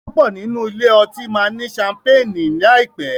púpọ nínú ilé otí ma ní Ṣampeeni láìpé.